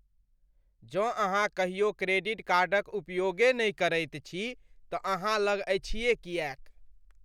जँ अहाँ कहियो क्रेडिट कार्डक उपयोगे नहि करैत छी तँ अहाँ लग अछि किएक?